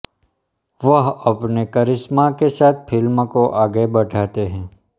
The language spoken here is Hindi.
वह अपने करिश्मा के साथ फिल्म को आगे बढ़ाते हैं